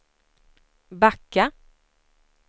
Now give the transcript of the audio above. backa